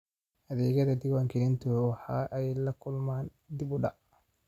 Adeegyada diwaangelintu waxa ay la kulmaan dib u dhac.